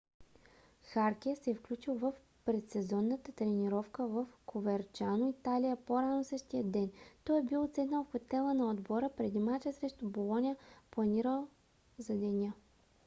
харке се е включил в предсезонната тренировка в коверчано италия по-рано същия ден. той е бил отседнал в хотела на отбора преди мача срещу болоня планиран за неделя